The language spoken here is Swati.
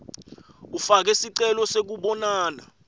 ufake sicelo sekubonana